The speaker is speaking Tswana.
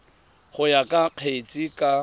go ya ka kgetse ka